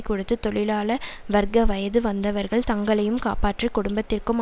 கொடுத்து தொழிலாள வர்க்க வயது வந்தவர்கள் தங்களையும் காப்பாற்றி குடும்பத்திற்கும்